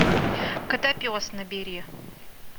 котопес набери